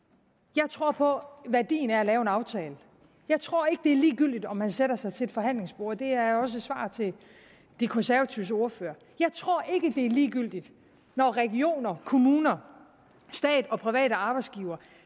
jeg tror på værdien af at lave en aftale jeg tror ikke det er ligegyldigt om man sætter sig til et forhandlingsbord det er også et svar til de konservatives ordfører jeg tror ikke det er ligegyldigt når regioner kommuner stat og private arbejdsgivere